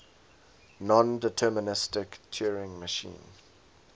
nondeterministic turing machine